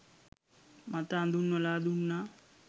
මත අඳුන්වලා දුන්නා